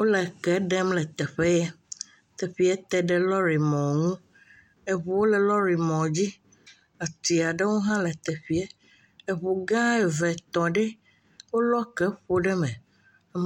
Wole eke ɖem le teƒe ye teƒe te ɖe lɔri mɔ ŋu, eŋuwo le lɔrimɔ dzi ati aɖewo hã le teƒee, eŋu gã eve tɔ ɖe, wolɔ eke ƒo ɖe me,